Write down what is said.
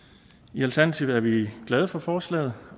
i alternativet er vi glade for forslaget